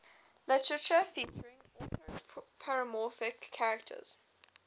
literature featuring anthropomorphic characters